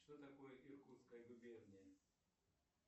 что такое иркутская губерния